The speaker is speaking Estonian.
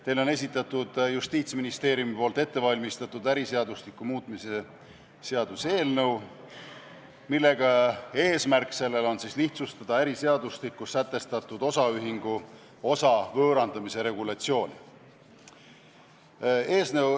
Teile on esitatud Justiitsministeeriumis ettevalmistatud äriseadustiku muutmise seaduse eelnõu, mille eesmärk on lihtsustada äriseadustikus sätestatud osaühingu osa võõrandamise regulatsiooni.